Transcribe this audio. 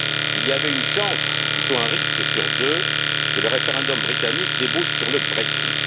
Il y avait une chance, ou plutôt un risque, sur deux que le référendum britannique débouche sur le Brexit.